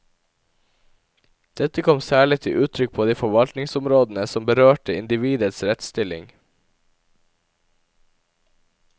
Dette kom særlig til uttrykk på de forvaltningsområdene som berørte individets rettsstilling.